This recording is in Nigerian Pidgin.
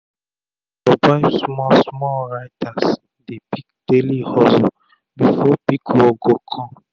to survive small small writers dey pick daily hustle before big work go come